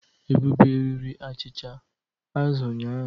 Ebube riri achịcha azụ ụnyahụ.